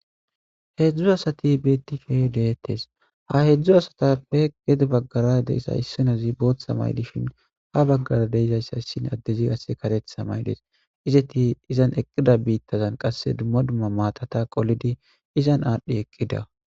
Hezdzdu asati betishshe deettes ha hezdzdu adetappe isoy booththa Mayo mayadi des hankoyissi qasse kareththa mayo mayidi des gusikko izeti mattata qolidi izan adhi eqidda